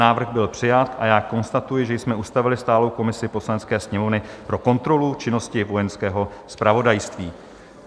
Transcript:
Návrh byl přijat a já konstatuji, že jsme ustavili stálou komisi Poslanecké sněmovny pro kontrolu činnosti Vojenského zpravodajství.